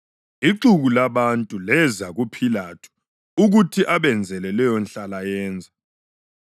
Ixuku labantu leza kuPhilathu ukuthi abenzele leyo nhlalayenza.